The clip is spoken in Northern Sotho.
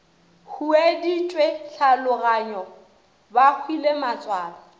hueditšwe tlhaologanyo ba hwile matswalo